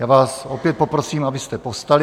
Já vás opět poprosím, abyste povstali.